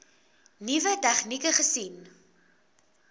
nuwe tegnieke gesien